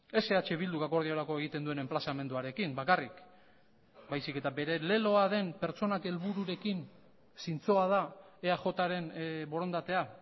ez eh bilduk akordiorako egiten duen enplazamenduarekin bakarrik baizik eta bere leloa den pertsonak helbururekin zintzoa da eajren borondatea